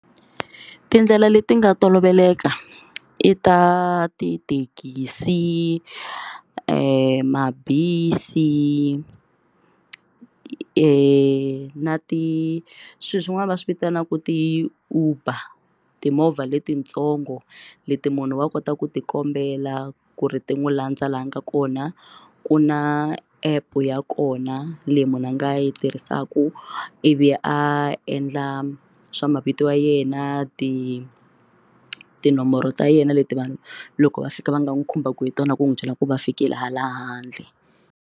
Tindlela leti nga toloveleka i ta tithekisi mabisi na ti swilo swin'wana va swi vitanaka ti Uber timovha letintsongo leti munhu wa kota ku ti kombela ku ri ti n'wi landza laha nga kona ku na app ya kona leyi munhu a nga yi tirhisaka ivi a endla swa mavito ya yena ti tinomboro ta yena leti vanhu loko va fika va nga n'wi khumbaka hi tona ku n'wi byela ku va fikile hala handle.